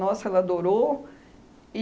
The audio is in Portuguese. Nossa, ela adorou.